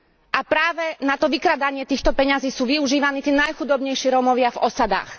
A práve na to vykrádanie týchto peňazí sú využívaní tí najchudobnejší Rómovia v osadách.